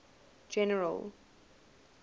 general